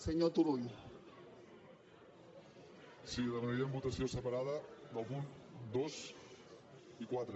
sí demanaríem votació separada dels punts dos i quatre